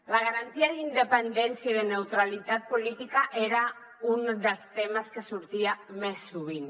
la garantia d’independència i de neutralitat política era un dels temes que sortia més sovint